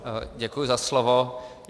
Děkuji za slovo.